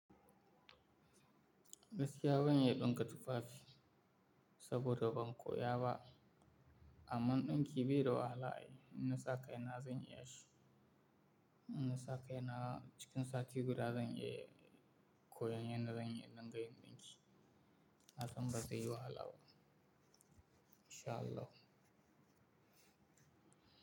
Gaskiya ban iya ɗinka tufafi saboda ban koya ba, amma ɗinki bai da wahala ai. In nasa kaina zan iya shi. In nasa kaina cikin sati guda zan iya koyon yadda zan iya dinga yin ɗinki. Hakan ba zai yi wahala ba. In sha Allah.